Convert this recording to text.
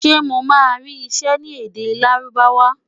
Ṣé mo máa rí iṣẹ́ ní èdè Lárúbáwá?